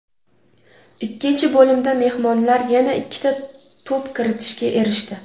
Ikkinchi bo‘limda mehmonlar yana ikkita to‘p kiritishga erishdi.